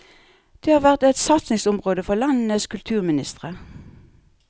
Det har vært et satsingsområde for landenes kulturministre.